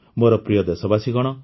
ମୋର ପ୍ରିୟ ଦେଶବାସୀଗଣ